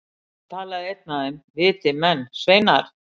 Þá talaði einn af þeim, viti menn, sveinar!